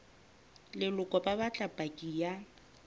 leloko ba batla paki ya